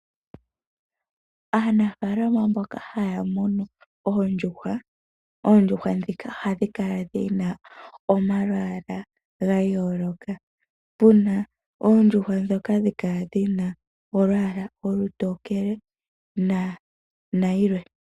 Aanafaalama mboka haya munu oondjuhwa, oondjuhwa ndhika ohadhi kala dhina omalwaala ga yooloka, puna oondjuhwa ndhoka hadhi kala dhina olwaala olutokele, nadhilwe.